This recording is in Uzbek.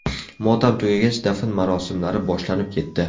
Motam tugagach, dafn marosimlari boshlanib ketdi.